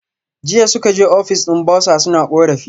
Jiya suka je office din bursar suna korafi